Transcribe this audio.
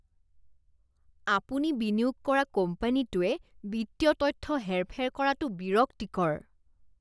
আপুনি বিনিয়োগ কৰা কোম্পানীটোৱে বিত্তীয় তথ্য হেৰ ফেৰ কৰাটো বিৰক্তিকৰ।